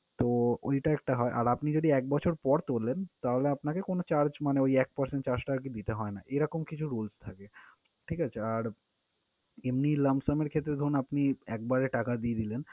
তো, ওইটা একটা হয়। আর আপনি যদি এক বছর পর তোলেন তাহলে আপনাকে কোন charge মানে ওই এক percent charge টা আরকি দিতে হয় না। এরকম কিছু rules থাকে। ঠিক আছে? আর এমনি lump sum এর ক্ষেত্রে ধরুন আপনি একবারে টাকা দিয়ে দিলেন